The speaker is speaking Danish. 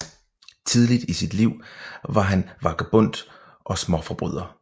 Tidligt i sit liv var han vagabond og småforbryder